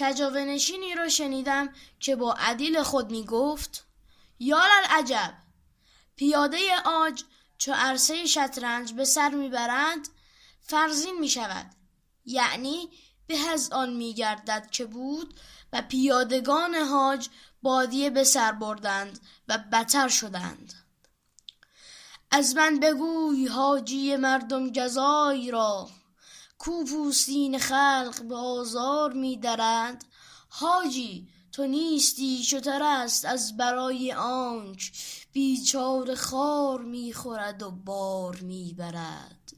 کجاوه نشینی را شنیدم که با عدیل خود می گفت یاللعجب پیاده عاج چو عرصه شطرنج به سر می برد فرزین می شود یعنی به از آن می گردد که بود و پیادگان حاج بادیه به سر بردند و بتر شدند از من بگوی حاجی مردم گزای را کاو پوستین خلق به آزار می درد حاجی تو نیستی شتر است از برای آنک بیچاره خار می خورد و بار می برد